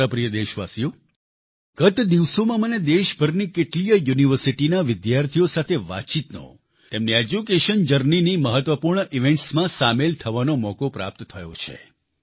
મારા પ્રિય દેશવાસીઓ ગત દિવસોમાં મને દેશભરની કેટલીયે યુનિવર્સિટીઓના વિદ્યાર્થીઓ સાથે વાતચીતનો તેમની એડ્યુકેશન journeyની મહત્વપૂર્ણ ઇવેન્ટ્સ માં સામેલ થવાનો મોકો પ્રાપ્ત થયો છે